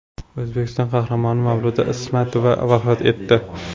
O‘zbekiston Qahramoni Mavluda Ismatova vafot etdi.